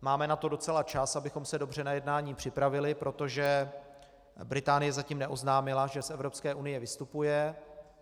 Máme na to docela čas, abychom se dobře na jednání připravili, protože Británie zatím neoznámila, že z Evropské unie vystupuje.